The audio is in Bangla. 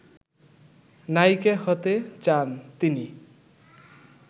নায়িকা হতে চান তিনি